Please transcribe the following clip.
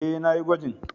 E, na yi gwajin.